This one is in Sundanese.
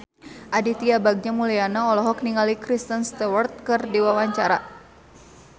Aditya Bagja Mulyana olohok ningali Kristen Stewart keur diwawancara